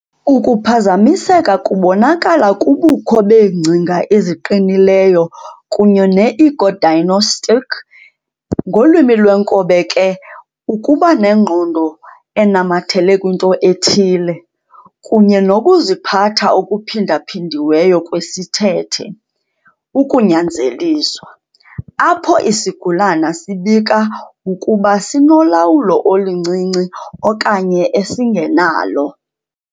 Ukuphazamiseka kubonakala kubukho beengcinga eziqinileyo kunye ne-ego-dystonic ngolwimi lwenkobe ke ukuba nengqondo enamathele kwinto ethile, kunye nokuziphatha okuphindaphindiweyo kwesithethe, ukunyanzeliswa, apho isigulane sibika ukuba sinolawulo oluncinci okanye esingenalo.